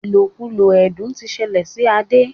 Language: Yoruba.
ilokulo ẹdun tí ṣẹlẹ sí Ade.